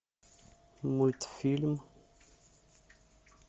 мультфильм